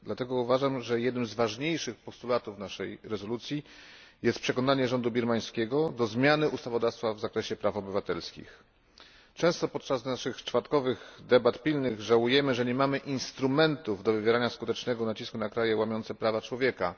Dlatego uważam, że jednym z ważniejszych postulatów naszej rezolucji jest przekonanie rządu birmańskiego do zmiany ustawodawstwa w zakresie praw obywatelskich. Często podczas naszych czwartkowych debat pilnych żałujemy, że nie mamy instrumentów do wywierania skutecznego nacisku na kraje łamiące prawa człowieka.